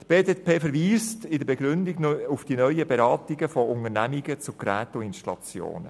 Die BDP verweist in der Begründung auf die neuen Beratungen von Unternehmungen zu Geräteinstallationen.